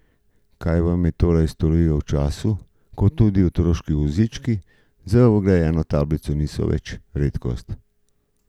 Kaj nam je torej storiti v času, ko tudi otroški vozički z vgrajeno tablico niso več redkost?